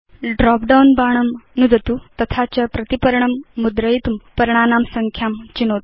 drop down बाणं नुदतु तथा च प्रतिपर्णं मुद्रयितुं पर्णानां संख्यां चिनोतु